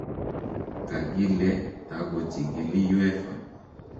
Kakile takochikili UEFA